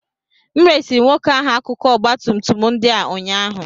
M resịrị nwoke ahụ akụkụ ọgba tum tum ndị a ụnyaahụ